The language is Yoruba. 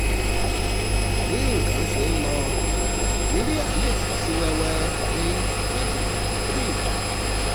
bí nǹkan ṣe ń lọ nàìjíríà lè fọ́ sí wẹ́wẹ́ ní twenty twenty three